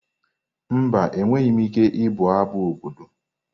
Mba, enweghị m ike ịbụ abụ obodo.